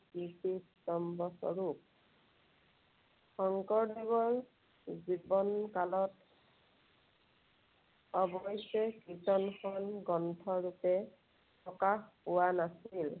কীৰ্তিস্তম্ভস্বৰূপ। শঙ্কৰদেৱৰ জীৱনকালত অৱশ্যে কীৰ্ত্তনখন গ্ৰন্থৰূপে প্ৰকাশ পোৱা নাছিল।